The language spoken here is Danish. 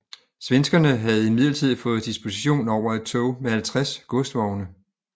Svenskerne havde imidlertid fået disposition over et tog med 50 godsvogne